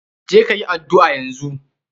Je ka yi addu'a yanzu.